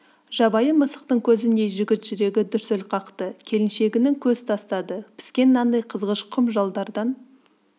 жабайы мысықтың көзіндей жігіт жүрегі дүрсіл қақты келіншегінің көз тастады піскен нандай қызғыш құм жалдардан